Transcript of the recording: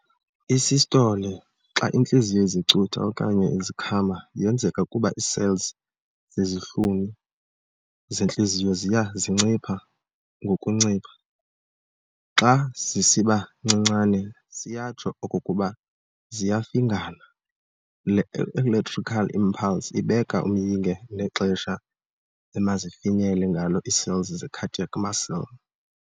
I-Systole, xa intliziyo izicutha okanye izikhama, yenzeka kuba ii-cells zezihlunu zentliziyo ziya zincipha ngokuncipha. xa zisiba ncinane siyatsho okokuba ziyafingana. Le electrical impulse ibeka umyinge nexesha emazifinyele ngalo ii-cells ze-cardiac muscle.